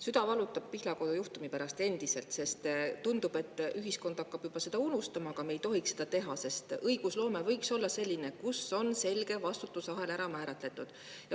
Süda valutab Pihlakodu juhtumi pärast endiselt, sest tundub, et ühiskond hakkab juba seda unustama, aga me ei tohiks seda teha, sest õigusloome võiks olla selline, kus on selge vastutusahel ära määratletud.